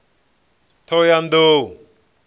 ṱhohoyanḓou